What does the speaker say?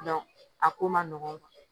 a ko man nɔgɔn